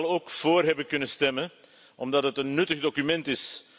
Ik zou evenwel ook voor hebben kunnen stemmen, omdat het een nuttig document is.